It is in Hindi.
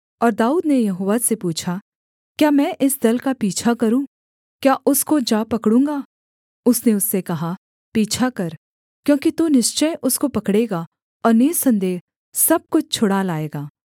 और दाऊद ने यहोवा से पूछा क्या मैं इस दल का पीछा करूँ क्या उसको जा पकड़ूँगा उसने उससे कहा पीछा कर क्योंकि तू निश्चय उसको पकड़ेगा और निःसन्देह सब कुछ छुड़ा लाएगा